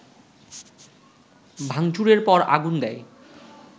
ভাংচুরের পর আগুন দেয়